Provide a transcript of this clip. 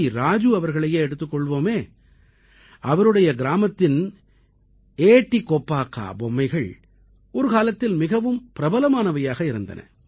ராஜு அவர்களையே எடுத்துக் கொள்வோமே அவருடைய கிராமத்தின் ஏட்டி கொப்பாக்கா பொம்மைகள் ஒரு காலத்தில் மிகவும் பிரபலமானவையாக இருந்தன